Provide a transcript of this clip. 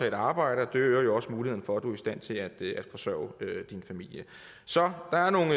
at arbejde og det øger jo også muligheden for at du er i stand til at forsørge din familie så der er nogle